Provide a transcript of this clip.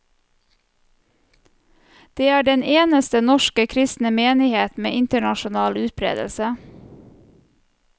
Det er den eneste norske kristne menighet med internasjonal utbredelse.